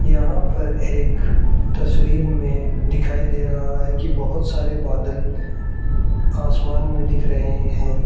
यहां पर एक तस्वीर में दिखाई दे रहा है कि बहुत सारे बादल आसमान में दिख रहे है।